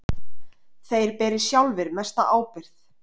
Þeir beri sjálfir mesta ábyrgð.